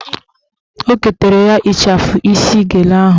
O ketara ya ịchafụ isi gele ahụ